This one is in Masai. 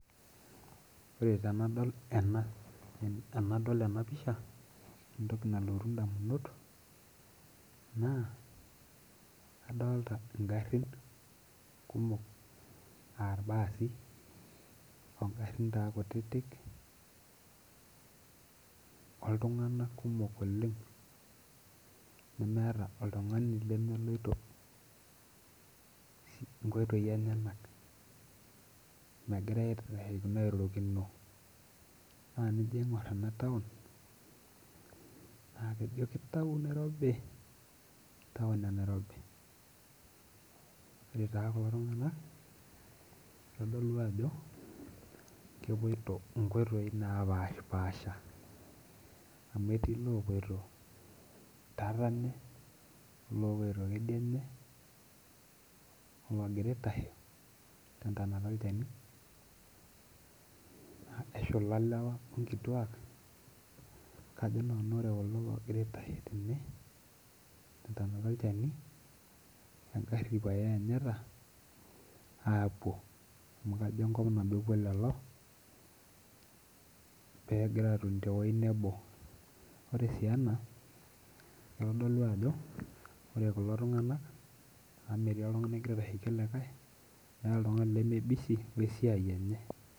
Ore tenadol ena pisha ore entoki nalotu indamunot naa adolita ingharhin kumok aa ilbaasi ongharin taa kutitik oltunganak kumok oleng nemeeta oltungani lemeloito inkoitoi enyenak nemegira airorokino Ore enijo aingur ena taon naa ijo taon e Nairobi. Ore taa kulo tung'anak naa itodolu ajo keppito inkoitoi napaasha amu etii iloopoito tatene oloopoito kedianye oloogira aitashe tentontana olchani eshuka lewa o ngiruak kajo nanu ore kulo oogira aitashe tene tentonata olchani engarhi pae eanyita amu kajo enkop nabo epuo lelo peegira atoni tewei nebo Ore sii ena itodolu ajo ore kulo tung'anak aametii oltungani ogira aitashiki likai ke busy pookingae